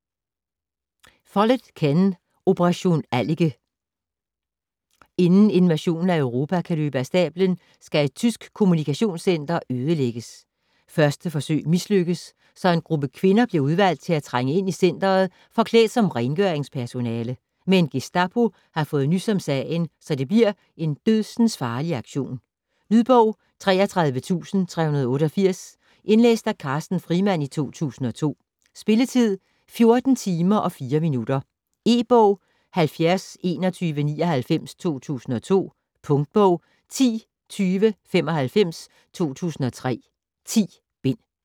Follett, Ken: Operation Allike Inden invasionen af Europa kan løbe af stablen skal et tysk kommunikationscenter ødelægges. Første forsøg mislykkes, så en gruppe kvinder bliver udvalgt til at trænge ind i centret forklædt som rengøringspersonale. Men Gestapo har fået nys om sagen, så det bliver en dødsensfarlig aktion. Lydbog 33388 Indlæst af Carsten Frimand, 2002. Spilletid: 14 timer, 4 minutter. E-bog 702199 2002. Punktbog 102095 2003. 10 bind.